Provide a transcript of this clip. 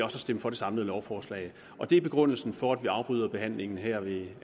at stemme for det samlede lovforslag det er begrundelsen for at vi afbryder behandlingen her ved